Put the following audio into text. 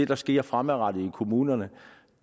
der sker fremadrettet i kommunerne